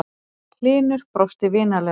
Hlynur brosti vinalega.